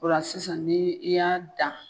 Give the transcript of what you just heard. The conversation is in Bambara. O la sisan ni i y'a dan.